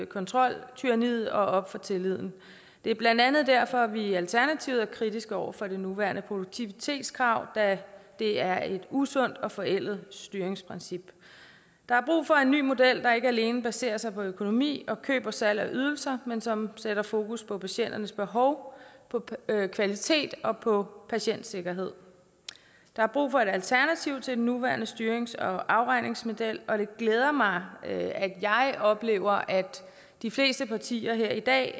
kontroltyranniet og op for tilliden det er blandt andet derfor vi i alternativet er kritiske over for det nuværende produktivitetskrav da det er et usundt og forældet styringsprincip der er brug for en ny model der ikke alene baserer sig på økonomi og køb og salg af ydelser men som sætter fokus på patienternes behov på kvalitet og på patientsikkerhed der er brug for et alternativ til den nuværende styrings og afregningsmodel og det glæder mig at jeg oplever at de fleste partier her i dag